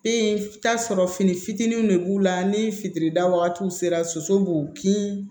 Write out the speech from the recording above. E t'a sɔrɔ fini fitinin de b'u la ni fitiri da wagatiw sera soso b'u kin